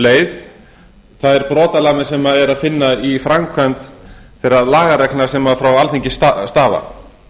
um leið þær brotalamir sem er að finna í framkvæmd þeirra lagareglna sem frá alþingi stafa